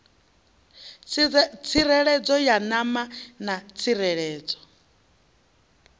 tsireledzo ya ṋama na tsireledzo